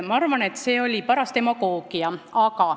Ma arvan, et see oli paras demagoogia.